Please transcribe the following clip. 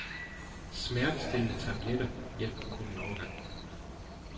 Smertestillende tabletter hjælper kun en overgang.